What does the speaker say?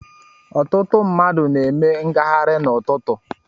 Ọtụtụ mmadụ na-eme ngaghari n'ututu.